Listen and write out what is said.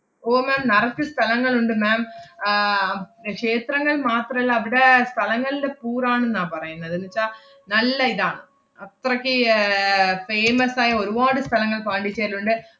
ഓ ma'am നറച്ച് സ്ഥലങ്ങളുണ്ട് ma'am. ആഹ് അം~ ക്ഷേത്രങ്ങൾ മാത്രല്ല അവടെ സ്ഥലങ്ങൾടെ പൂരാണെന്നാ പറയുന്നത്. ~ന്നുച്ചാ നല്ല ഇതാണ്. അത്രക്ക് യ്~ ഏർ famous ആയ ഒരുവാട് സ്ഥലങ്ങള്‍ പോണ്ടിച്ചേരിലുണ്ട്.